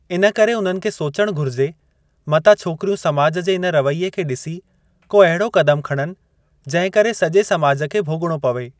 इन करे उन्हनि खे सोचणु घुरिजे मतां छोकरयूं समाज जे इन रवइए खे डि॒सी को अहिड़ो कदमु खणनि जंहिं करे सॼे समाज खे भोग॒णो पवे।